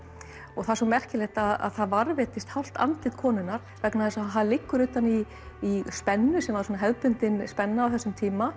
og það er svo merkilegt að það varðveittist hálft andlit konunnar vegna þess að það liggur utan í í spennu sem var svona hefðbundin spenna á þessum tíma